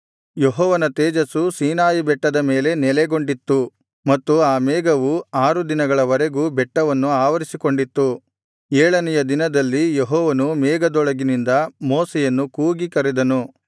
ಯೆಹೋವನ ತೇಜಸ್ಸು ಸೀನಾಯಿಬೆಟ್ಟದ ಮೇಲೆ ನೆಲೆಗೊಂಡಿತ್ತು ಮತ್ತು ಆ ಮೇಘವು ಆರು ದಿನಗಳ ವರೆಗೂ ಬೆಟ್ಟವನ್ನು ಆವರಿಸಿಕೊಂಡಿತ್ತು ಏಳನೆಯ ದಿನದಲ್ಲಿ ಯೆಹೋವನು ಮೇಘದೊಳಗಿನಿಂದ ಮೋಶೆಯನ್ನು ಕೂಗಿ ಕರೆದನು